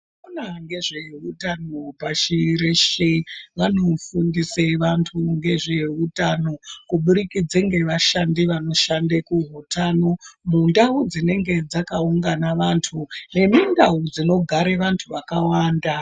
Vanoona nezveutano pashi reshe vanofundise vantu ngezveutano kubudikidze ngevashandi vanoshanda kuutano mundawu dzinenge dzakaungana vantu nemundawu dzinogare vanhu vakawanda.